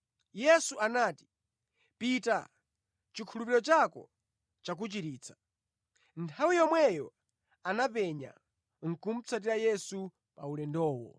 Yesu anati, “Pita, chikhulupiriro chako chakuchiritsa!” Nthawi yomweyo anapenya, nʼkumatsatira Yesu pa ulendowo.